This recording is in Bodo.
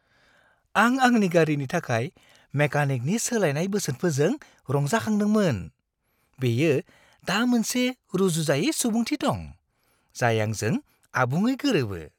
आं आंनि गारिनि थाखाय मेकानिकनि सोलायनाय बोसोनफोरजों रंजाखांदोंमोन। बेयो दा मोनसे रुजुजायै सुबुंथि दं, जाय आंजों आबुङै गोरोबो।